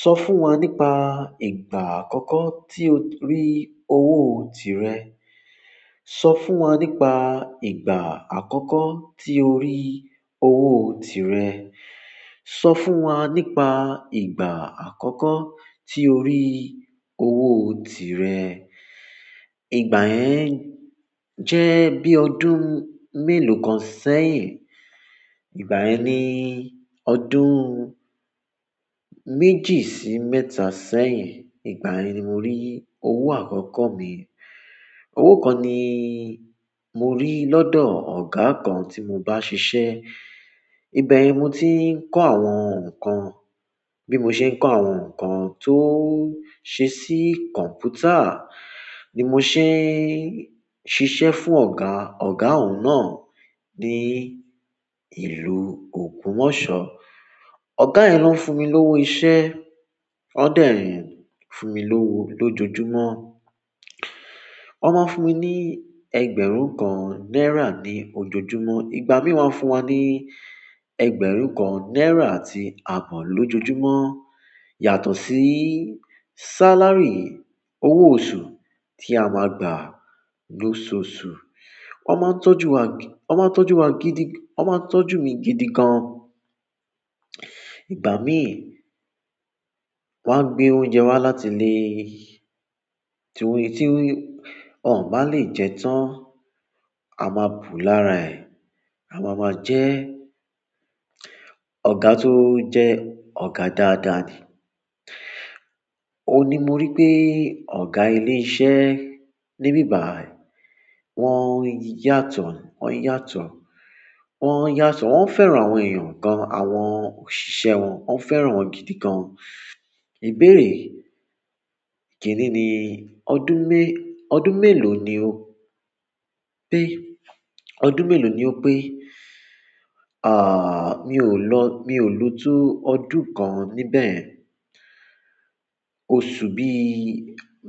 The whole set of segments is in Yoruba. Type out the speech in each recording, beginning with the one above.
Sọ fún wa nípa ìgbà àkọ́kọ́ tí o rí owó tirẹ̀. Sọ fún wa nípa ìgbà àkọ́kọ́ tí o rí owó tirẹ̀. Sọ fún wa nípa ìgbà àkọ́kọ́ tí o rí owó tirẹ̀. Ìgbà yẹn jẹ́ bí ọdún mélòó kan sẹ́yìn. Ìgbà yẹn ni ọdún méjì sí mẹ́ta sẹ́yìn. Ìgbà yẹn ni mo rí owó àkọ́kọ́ mi. Owó kan ni mo rí lọ́dọ̀ ọ̀gá kan tí mo bá ń ṣiṣẹ́. Ibẹ̀ yen ni mo ti ń kọ́ àwọn nkan. Bí mo ṣe ń kọ́ àwọn nǹkan tó ṣe sí kọ̀mpútà, ni mo ṣe ń ṣiṣẹ́ fún ọ̀gá, ọ̀gá òun náà ní ìlú Ògbomọ̀ṣọ́. Ọ̀gá yẹn ló ń fún mi lówó iṣẹ́. Ó dẹ̀ ń fún mi lówó lójoojúmọ́. Wọ́n máa ń fúnmi ní ẹgbẹ̀rún kan náírà ní ojoojúmọ́. Ìgbà mí wá ń fún wa ní ẹgbẹ̀rún kan náírà àti ààbọ̀ lójoojúmọ́. Yàtọ̀ sí sáláry, owó oṣù tí a máa gbà lóṣoṣù. Wọ́n máa ń tọ́jú wa, wọ́n máa ń tọ́jú wa gidi, wọ́n máa ń tọ́jú mi gidi gan. Ìgbà mí wá ń gbé oúnjẹ wá láti ilé. Ti won ba le je tan, a ma bu lára e. A máa ma jẹ́ ọ̀gá tó jẹ́ ọ̀gá dáadáa ni. Ó ni mo rí pé ọ̀gá ilé iṣẹ́ níbí bàyi, wọ́n yàtọ̀, wọ́n yàtọ̀, wọ́n yàtọ̀, wọ́n fẹ́ran àwọn èèyàn gan, àwọn òṣìṣẹ́ wọn, wọ́n fẹ́ran wọn gidi gan. Ìbéèrè kini ni ọdún meelo ni o pe ọdún mélòó ni o pé? À, mi ò lọ, mi ò lò tó ọdún kan níbẹ̀. Oṣù bí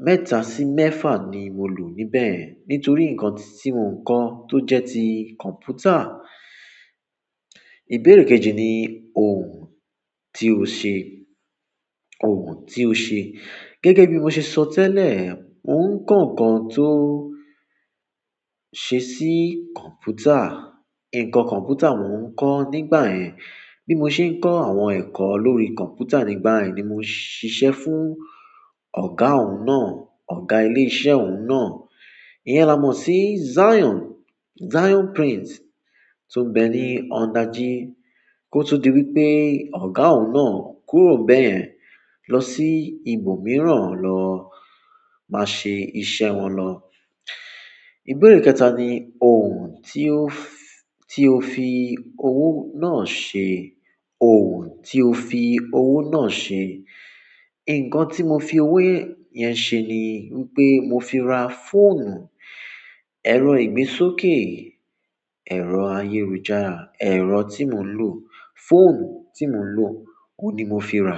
mẹ́ta sí mẹ́fa ni mo lò níbẹ̀. Nítorí nǹkan tí mò ń kọ́ tó jẹ́ ti kọ̀ǹpútà. Ìbéèrè kejì ni òhun tí o ṣe, òhun tí o ṣe. Gẹ́gẹ́ bí mo ṣe sọ tẹ́lẹ̀, mò ń kọ́ nǹkan tó ṣe sí kọ̀ǹpútà. Nkan kọ̀mpútà mò ń kọ́ nígbà yẹn. Bí mo ṣe ń kọ́ àwọn ẹ̀kọ́ lórí kọ̀ǹpútà nígbà yẹn ni mo ń ṣiṣẹ́ fún ọ̀gá òun náà, ọ̀gá ilé iṣẹ́ òun náà. Iyẹn la mọ̀ sí Zion, Zion Print tó ń bẹ ní Ọ̀dájí. Kó tó di wípé ọ̀gá òun náà kúrò bẹ́ẹ̀ lọ sí ibòmíràn lọ máa ṣe iṣẹ́ wọn lọ. Ìbéèrè kẹta ni ohun ti o fi owo náà se? Ìkàn tí mo fi owó yẹn ṣe ni wípé mo fi ra fóònù, ẹ̀rọ ìgbésókè, ẹ̀rọ ayélujára, ẹ̀rọ tí mò ń lò, fóònù tí mò ń lò, òhun ni mo fi ra.